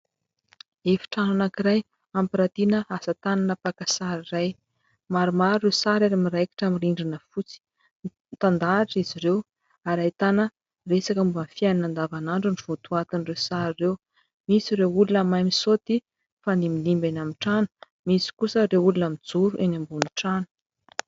Efitrano anankiray ampiratiana asatanana mpaka sary iray. Maromaro ireo sary ary miraikitra amin'ny rindrina fotsiny mitandahatra izy ireo ary ahitana resaka momba ny fiainana andavan'andro no votoatin'ireo sary ireo. Misy ireo olona mahay misaoty, mifandimbindimby eny ambony trano, misy kosa ireo olona mijoro eny ambony trano.